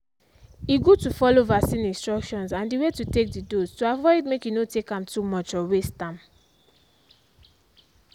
e good to follow vaccine instructions and the way to take the dose to avoid make e no take am too much or waste am.